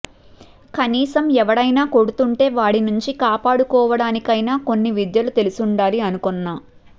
కనీసం ఎవడైనా కొడుతుంటే వాడి నుంచి కాపాడుకోవడానికైనా కొన్ని విద్యలు తెలుసుండాలి అనుకొన్నా